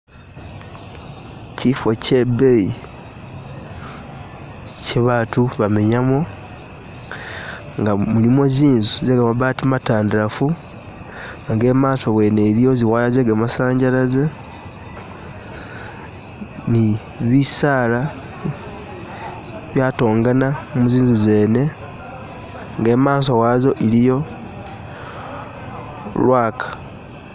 Chifo chebeyi chebaatu bamenyamo nga mulimo tsinzu nenga mabaati matandalafu nga imaaso wene iliyo zi wire ze kamasanyalaze ni bisaala bya tongana mu zinzu zene ne maaso wazo iliyo lulwaka